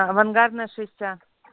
авангардная шесть а